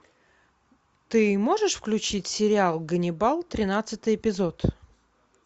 ты можешь включить сериал ганнибал тринадцатый эпизод